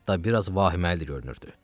Hətta biraz vahiməli görünürdü.